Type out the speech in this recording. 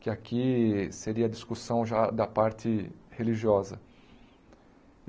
que aqui seria a discussão já da parte religiosa.